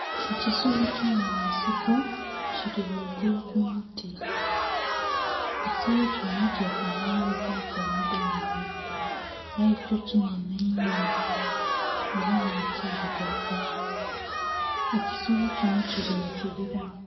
Ekisolo ky'omunsiko kili ghaigulu ku muti. Ekisolo kino kyefanhanhilizaaku omudolome, aye kyo kinhenhe inho, ela nga kilugavu. Ekisolo kino kili mu kibila.